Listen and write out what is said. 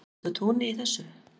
er ég úti á túni í þessu